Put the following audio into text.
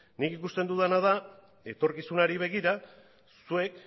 nik ikusten dudana da etorkizunari begira zuek